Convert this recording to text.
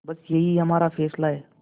बस यही हमारा फैसला है